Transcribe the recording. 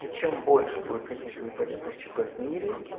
и чем больше будет каких-то непонятных чп в мире